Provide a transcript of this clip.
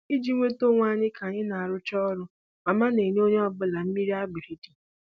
Iji nweta onwe anyị ka anyị rụchara ọrụ, mama na-enye onye ọbụla mmiri agbiridi